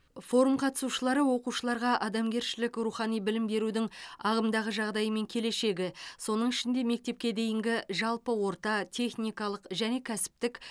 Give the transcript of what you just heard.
форум қатысушылары оқушыларға адамгершілік рухани білім берудің ағымдағы жағдайы мен келешегі соның ішінде мектепке дейінгі жалпы орта техникалық және кәсіптік